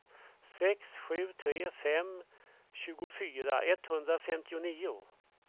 sex sju tre fem tjugofyra etthundrafemtionio